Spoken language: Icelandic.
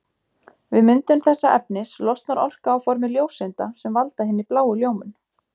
Við myndun þessa efnis losnar orka á formi ljóseinda sem valda hinni bláu ljómun.